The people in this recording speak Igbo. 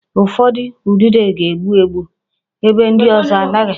Ụfọdụ udide ga-egbu egbu, ebe ndị ọzọ agaghị